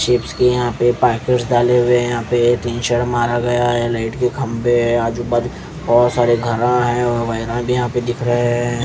Shapes की यहाँ पे डाले हुए यहाँ पे तीन शर्ट मारा गया है लाइट के खंभे हैं आजू बाजू बहुत सारे घरा है और यहाँ पे दिख रहे हैं।